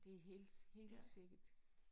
Det er helt helt sikkert